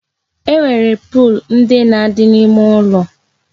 E nwere pol ndị na-adị n'ime ụlọ